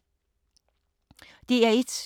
DR1